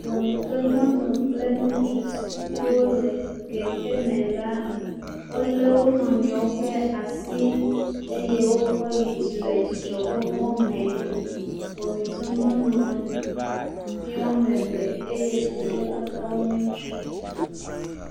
Wɔmetɔ nyɔnu kple ŋutsu si ke wo le kekeme la. Wo le wo nɔnɔewo ƒe asi eye wokɔ yi dzi le dzidzɔkpɔkpɔ me. Wɔmetɔ nyɔnu ye wo ame eve eye susua katã wo nye ŋutsu.